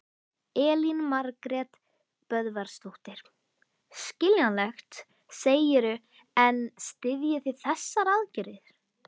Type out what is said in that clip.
Elín Margrét Böðvarsdóttir: Skiljanlegt, segirðu en styðjið þið þessar aðgerðir?